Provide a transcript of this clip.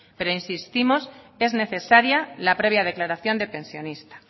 pero insistimos que es necesaria la previa declaración de pensionista